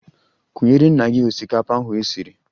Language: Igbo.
Kunyere nna gị osikapa ahu esiri!